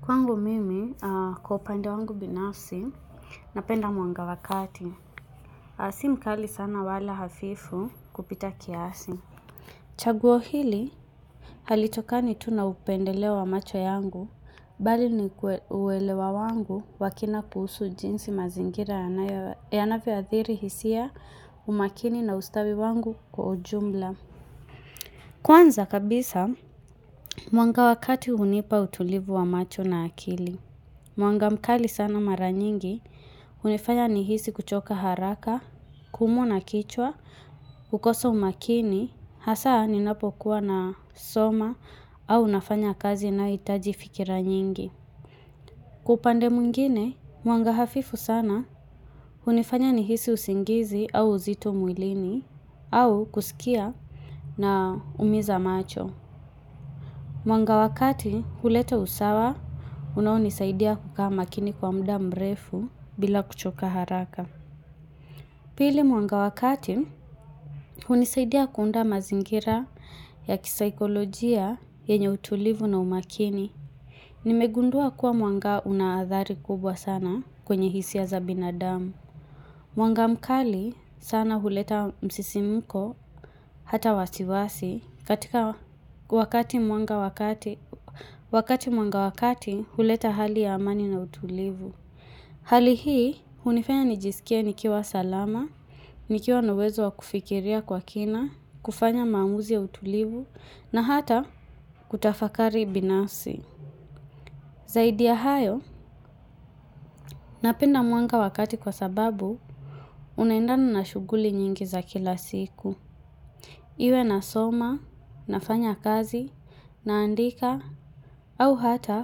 Kwangu mimi kwa upande wangu binafsi napenda mwanga wa kati. Si mkali sana wala hafifu kupita kiasi. Chaguo hili halitokani tu na upendeleo wa macho yangu bali ni uwelewa wangu wa kina kuhusu jinsi mazingira yanavyo athiri hisia umakini na ustawi wangu kwa ujumla. Kwanza kabisa mwanga wa kati hunipa utulivu wa macho na akili. Mwanga mkali sana mara nyingi, hunifanya nihisi kuchoka haraka, kuumwa na kichwa, kukosa umakini, hasa ninapokuwa nasoma au nafanya kazi inayohitaji fikira nyingi. Kwa upande mwingine, mwanga hafifu sana, hunifanya nihisi usingizi au uzito mwilini, au kusikia naumiza macho. Mwanga wa kati huleta usawa unaonisaidia kukaa makini kwa muda mrefu bila kuchoka haraka. Pili mwanga wa kati hunisaidia kuunda mazingira ya kisaikolojia yenye utulivu na umakini. Nimegundua kuwa mwanga unaathari kubwa sana kwenye hisia za binadamu. Mwanga mkali sana huleta msisimuko hata wasiwasi katika wakati mwanga wa kati huleta hali ya amani na utulivu. Hali hii hunifanya nijisikie nikiwa salama, nikiwa na uwezo wa kufikiria kwa kina, kufanya maamuzi ya utulivu na hata kutafakari binafsi. Zaidi ya hayo, napenda mwanga wa kati kwa sababu unaendana na shughuli nyingi za kila siku. Iwe nasoma, nafanya kazi, naandika, au hata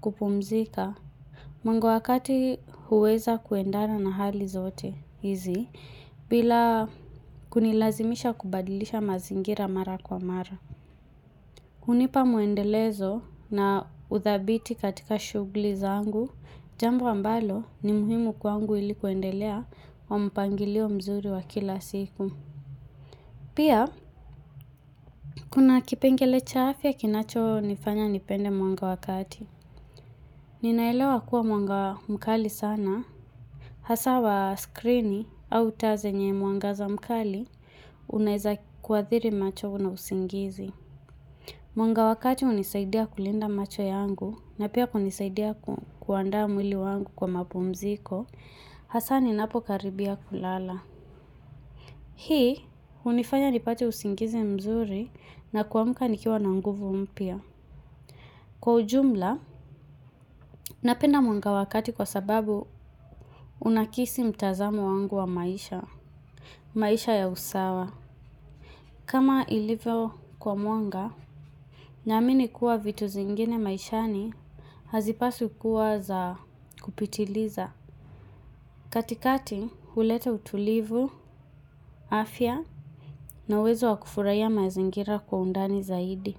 kupumzika. Mwanga wa kati huweza kuendana na hali zote hizi, bila kunilazimisha kubadilisha mazingira mara kwa mara. Hunipa muendelezo na uthabiti katika shughuli zangu, jambo ambalo ni muhimu kwangu ili kuendelea wa mpangilio mzuri wa kila siku. Pia, kuna kipengele cha afya kinachonifanya nipende mwanga wa kati. Ninaelewa kuwa mwanga mkali sana, hasa wa skrini au taa zenye mwanga za mkali, unaeza kuathiri macho na usingizi. Mwanga wa kati hunisaidia kulinda macho yangu na pia hunisaidia kuandaa mwili wangu kwa mapumziko. Hasa ninapo karibia kulala. Hii hunifanya nipate usingizi mzuri na kuamka nikiwa na nguvu mpya. Kwa ujumla, napenda mwanga wa kati kwa sababu unakisi mtazamo wangu wa maisha. Maisha ya usawa kama ilivyo kwa mwanga, naamini kuwa vitu zingine maishani hazipaswi kuwa za kupitiliza. Katikati huleta utulivu afya na uwezo wa kufurahiya mazingira kwa undani zaidi.